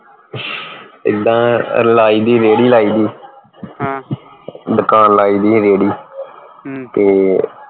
ਇੱਦਾ ਲਾਈ ਦੀ ਰੇਹੜੀ ਲਾਈ ਦੀ ਦੁਕਾਨ ਲਾਈ ਸੀ ਰੇਹੜੀ ਤੇ